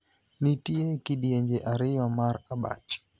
Nitie kidienje ariyo mar abach.